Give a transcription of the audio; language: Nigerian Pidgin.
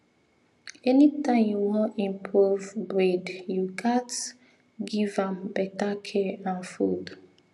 anytime you wan improve breed you gats give am better care and food